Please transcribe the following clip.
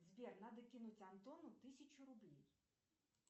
сбер надо кинуть антону тысячу рублей